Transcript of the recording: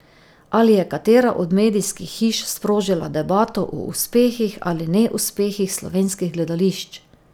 Ali je katera od medijskih hiš sprožila debato o uspehih ali neuspehih slovenskih gledališč?